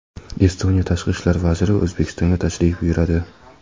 Estoniya tashqi ishlar vaziri O‘zbekistonga tashrif buyuradi.